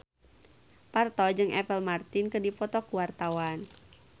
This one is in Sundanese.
Parto jeung Apple Martin keur dipoto ku wartawan